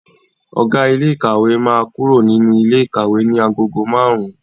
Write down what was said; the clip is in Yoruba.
Ọ̀gá ilé ìkàwé máa kúrò nínú ilé ikawe ní agogo márùn-ún.